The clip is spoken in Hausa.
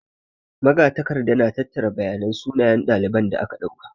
Magatakarda na tattara bayanan sunayen ɗaliban da aka ɗauka.